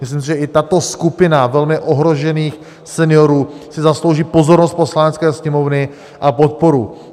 Myslím si, že i tato skupina velmi ohrožených seniorů si zaslouží pozornost Poslanecké sněmovny a podporu.